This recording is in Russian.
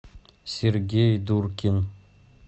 сергей дуркин